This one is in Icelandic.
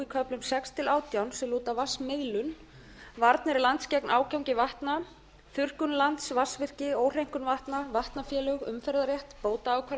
köflum sex til átján sem lúta að vatnsmiðlun varnir lands gegn ágangi vatna þurrkun lands vatnsvirki óhreinkun vatna vatnafélög umferðarrétti bótaákvarðandi